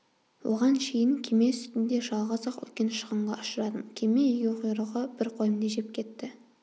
оған шейін кеме үстінде жалғыз-ақ үлкен шығынға ұшырадым кеме егеуқұйрығы бір қойымды жеп кетті